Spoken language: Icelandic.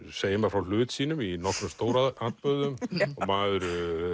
segir maður frá hlut sínum í nokkrum stóratburðum og maður